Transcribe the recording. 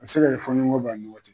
A bɛ se k'ali fɔɲɔgɔn bɔ a' ni ɲɔgɔ cɛ